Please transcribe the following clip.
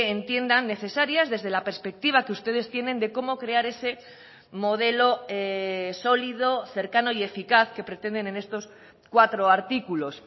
entiendan necesarias desde la perspectiva que ustedes tienen de cómo crear ese modelo sólido cercano y eficaz que pretenden en estos cuatro artículos